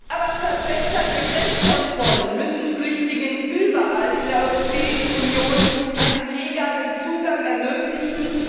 Aber verbesserte Grenzkontrollen müssen Flüchtlingen überall in der Europäischen Union einen legalen Zugang ermöglichen.